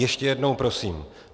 Ještě jednou prosím.